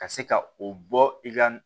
Ka se ka o bɔ i ka